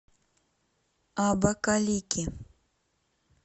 абакалики